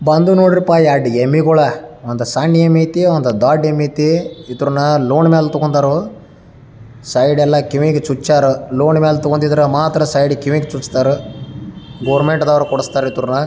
ಬಂದ್ವು ನೋಡ್ರಪ್ಪಾ ಎರಡು ಎಮ್ಮೆಗಳ ಒಂದು ಸಣ್ಣ ಎಮ್ಮಿ ಐತೆ ಒಂದು ದೊಡ್ಡ ಎಮ್ಮೆ ಐತಿ ಇದನ್ನ ಲೋನ್ ಮೇಲೆ ತಗೊಂಡು ಅವರು ಸೈಡ್ ಎಲ್ಲ ಕಿವಿಗೆ ಚುಚ್ಚಾರ ಲೋನ್ ಮೇಲೆ ತಗೊಂಡಿದ್ರೆ ಮಾತ್ರ ಸೈಡ್ಗೆ ಕಿವಿ ಚುತ್ತಾರ ಗೌರ್ಮೆಂಟ್ ನವರು ಕೊಡಿಸುತ್ತಾರೆ ಎದುರ್ನಾ..